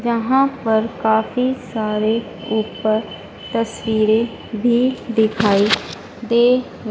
जहां पर काफी सारे ऊपर तस्वीरें भी दिखाई दे--